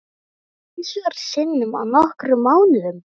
Þrisvar sinnum á nokkrum mánuðum?